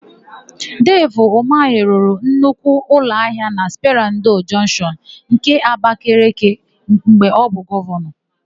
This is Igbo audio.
Devi Umahị rụrụ nnukwu ụlọahịa na Sperandio Jọnshịọn nke Abakeleke mgbe ọ bụ Gọvanọ.